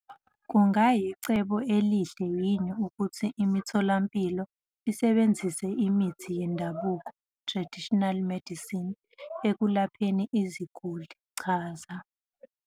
Kungayicebo elihle yini ukuthi imitholampilo isebenzise imithi yendabuko, traditional medicine, ekulapheni iziguli? Chaza.